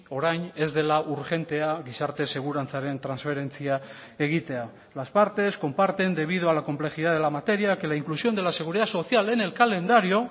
orain ez dela urgentea gizarte segurantzaren transferentzia egitea las partes comparten debido a la complejidad de la materia que la inclusión de la seguridad social en el calendario